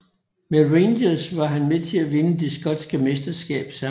Med Rangers var han med til at vinde det skotske mesterskab samme år